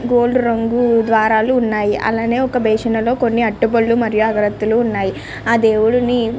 Gold రంగు ద్వారాలు ఉన్నాయి. అలానే ఒక బేషన్ లో అరటి పళ్ళు మరియు అగరత్తులు ఉన్నాయి. అలాగే ఆ దేవుడిని--